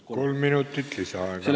Kolm minutit lisaaega.